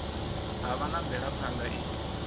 ha vha na mvelaphana i